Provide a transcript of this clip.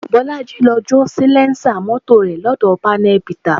Bolaji lọ jó salẹńsà mọ́tò rẹ̀ lọ́dọ̀ panel beater